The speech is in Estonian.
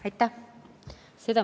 Aitäh!